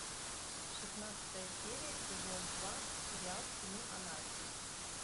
шестнадцатая серия сезон два сериал сыны анархии